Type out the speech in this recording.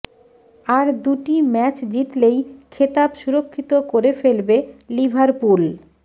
আর দুটি ম্যাচ জিতলেই খেতাব সুরক্ষিত করে ফেলবে লিভারপুল